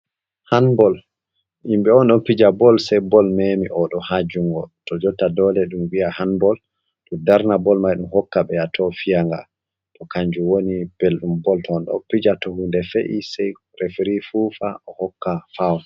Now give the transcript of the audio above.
Hanbol himɓe on ɗo fija bol, sei bol memi oɗo ha jungo, to jotta dole ɗum wi'a hanbol darna bol mai hokka ɓeya to fiyanga, to kanjum woni belɗum bol to onɗo fija to hunde fe’i sei refiri fufa o hokka fawol.